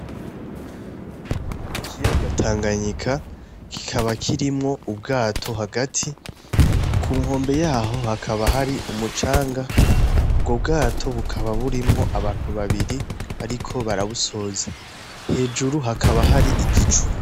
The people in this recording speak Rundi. N'ikiyaga Tanganyika, kikaba kirimwo ubwato hagati, ku nkombe yaho hakaba hari umucanga, ubwo bwato bukaba burimwo abantu babiri bariko barabusoza, hejuru hakaba hari igicu.